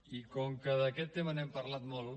i com que d’aquest tema n’hem parlat molt